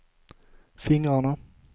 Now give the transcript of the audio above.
fingrarna